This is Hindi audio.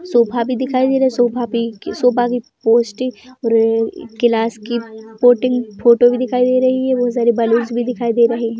सोखा भी दिखाई दे रहा है सोफ़ा पी सोफ़ा की पोस्ट और क्लास की प्लोटिंग फोटो भी दिखाई दे रही है बहोत सारे बलून्स भी दिखाई दे रहे हैं।